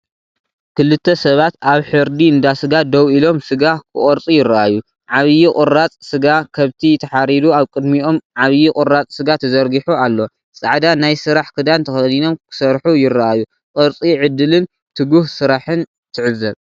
ክልተ ሰባት ኣብ ሕርዲ እንዳ ስጋ ደው ኢሎም ስጋ ክቖርጹ ይረኣዩ። ዓቢ ቁራጽ ስጋ ከብቲ ተሓሪዱ ኣብ ቅድሚኦም ዓብዩ ቁራጽ ስጋ ተዘርጊሑ ኣሎ። ጻዕዳ ናይ ስራሕ ክዳን ተኸዲኖም ክሰርሑ ይረኣዩ። ቁርሲ ዕድልን ትጉህ ስራሕን ትዕዘብ፡፡